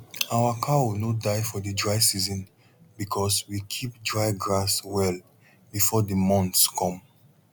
our cow no die for the dry season because we keep dry grass well before the months come